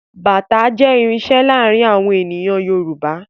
Bàtá jẹ́ irinṣẹ́ láàárín àwọn ènìyàn Yorùbá